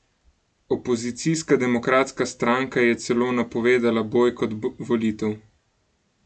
Opozicijska Demokratska stranka je celo napovedala bojkot volitev.